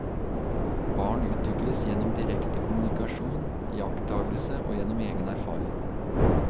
Barn utvikles gjennom direkte kommunikasjon, iakttagelse og gjennom egen erfaring.